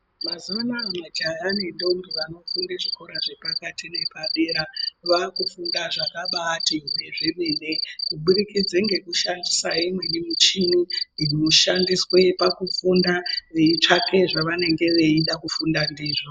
Mazuva anaya majaha ne ndombi vano funde kuzvikora zve pakati nepa dera vakufunda zvakabaiti hwe zvemene kubudikidze ngeku shandise imweni michini inoshandiswe paku funda veitsvake zvavanenge veida kufunda ndivo.